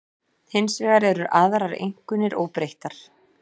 Hins vegar eru aðrar einkunnir óbreyttar